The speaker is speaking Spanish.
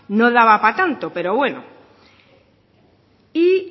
no daba para tanto pero bueno y